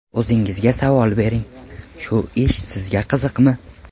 O‘zingizga savol bering: shu ish sizga qiziqmi?